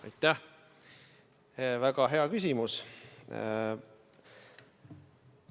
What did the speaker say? Aitäh, väga hea küsimus!